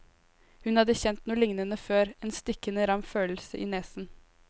Hun hadde kjent noe lignende før, en stikkende ram følelse i nesen.